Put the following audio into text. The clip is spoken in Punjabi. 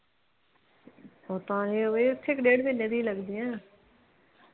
ਪਤਾ ਨਹੀਂ ਇੱਥੇ ਵੀ ਡੇਢ ਕਾ ਮਹੀਨੇ ਦੀਆ ਲਗਦੀਆਂ।